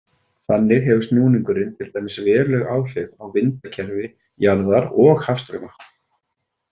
Þannig hefur snúningurinn til dæmis veruleg áhrif á vindakerfi jarðar og hafstrauma.